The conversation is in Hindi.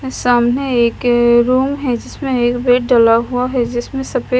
सामने एक रूम है जीसमें एक बेड डला हुआ है जिसमें सफे--